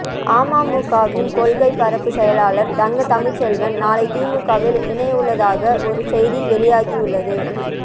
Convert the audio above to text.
அமமுகவின் கொள்கை பரப்பு செயலாளர் தங்க தமிழ்ச்செல்வன் நாளை திமுகவில் இணையவுள்ளதாக ஒரு செய்தி வெலீயாகியுள்ளது